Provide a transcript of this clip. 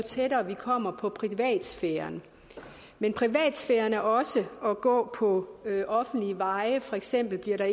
kommer på privatsfæren men privatsfæren er også at gå på offentlige veje for eksempel bliver der